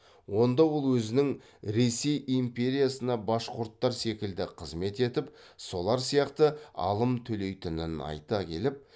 онда ол өзінің ресей империясына башқұрттар секілді қызмет етіп солар сияқты алым төлейтінін айта келіп